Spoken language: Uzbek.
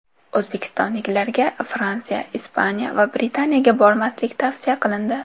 O‘zbekistonliklarga Fransiya, Ispaniya va Britaniyaga bormaslik tavsiya qilindi.